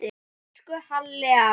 Elsku Halli afi.